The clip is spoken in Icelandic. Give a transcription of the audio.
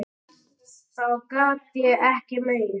Þá gat ég ekki meir.